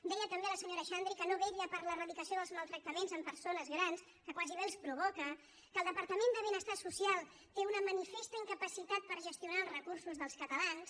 deia també la senyora xandri que no vetlla per l’eradicació dels maltractaments en persones grans que quasi bé els provoca que el departament de benestar social té una manifesta incapacitat per gestionar els recursos dels catalans